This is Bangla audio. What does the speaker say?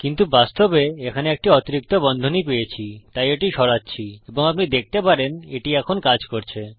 কিন্তু বাস্তবে এখানে একটি অতিরিক্ত বন্ধনী পেয়েছি তাই এটি সরাচ্ছি এবং আপনি দেখতে পারেন এটি এখন কাজ করছে